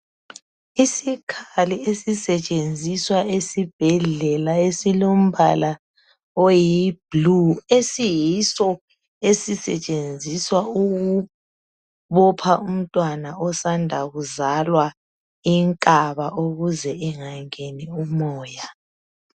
Isikhali esisetshenziswa esibhedlela esilombala oyi blue esiyiso esisetshenziswa ukubopha umntwana osanda kuzalwa inkaba ukuze engangeni umoya.